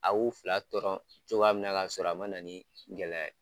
A'u fila dɔrɔn cogoya minɛ ka sɔrɔ a ma na ni gɛlɛya ye.